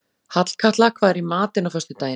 Hallkatla, hvað er í matinn á föstudaginn?